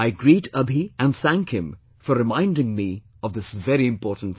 I greet Abhi and thank him for reminding me of this very important thing